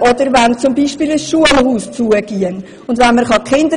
Oder man kann beispielsweise die Kindergartenkinder